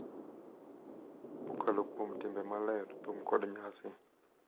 Kokalo kuom timbe maler, thum, kod nyasi,